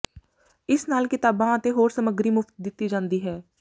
ਇਸ ਨਾਲ ਕਿਤਾਬਾਂ ਅਤੇ ਹੋਰ ਸਮੱਗਰੀ ਮੁਫ਼ਤ ਦਿੱਤੀ ਜਾਂਦੀ ਹੈ